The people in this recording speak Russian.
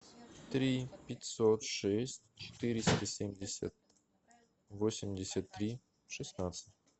три пятьсот шесть четыреста семьдесят восемьдесят три шестнадцать